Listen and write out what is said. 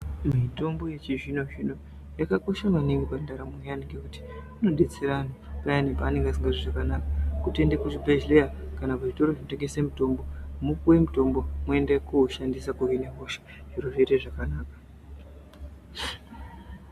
Mitombo yechizvino zvino yakakosha maningi mundaramo yaanhu ngekuti inodetsera Anhu payani paanenge asingazwi zvakanaka kutoende kuzvibhedhleya kana kuzvitoro zvinotengese mutombo mwopuwe mutombo mwoende kousganisa kuhine hosha zciro zvoite zvakanaka.